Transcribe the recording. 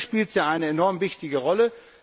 Krise. Hier spielt sie eine enorm wichtige